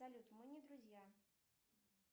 салют мы не друзья